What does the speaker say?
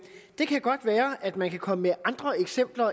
det kan godt være at man kan komme med andre eksempler